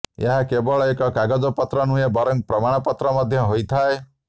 ଏହା କେବଳ ଏକ କାଗଜପତ୍ର ନୁହେଁ ବରଂ ପ୍ରମାଣପତ୍ର ମଧ୍ୟ ହୋଇଥାଏ